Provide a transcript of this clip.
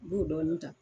I b'o dɔɔnin ta